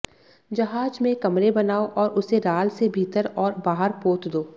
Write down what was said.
जहाज में कमरे बनाओ और उसे राल से भीतर और बाहर पोत दो